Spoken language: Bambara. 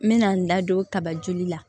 N mɛna n da don kaba joli la